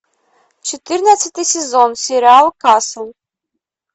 четырнадцатый сезон сериал касл